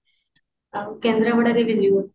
ଆଉ କେନ୍ଦ୍ରପଡା କେବେ ଯିବୁ